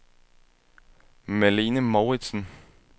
Malene Mouritzen